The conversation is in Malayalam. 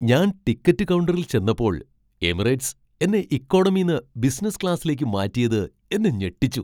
ഞാൻ ടിക്കറ്റ് കൗണ്ടറിൽ ചെന്നപ്പോൾ എമിറേറ്റ്സ് എന്നെ ഇക്കണോമീന്ന് ബിസിനസ് ക്ലാസ്സിലേക്ക് മാറ്റിയത് എന്നെ ഞെട്ടിച്ചു.